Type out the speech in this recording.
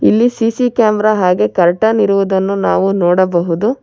ಇಲ್ಲಿ CC camera ಹಾಗೆ curtain ಇರುವುದನ್ನು ನಾವು ನೋಡಬಹುದು.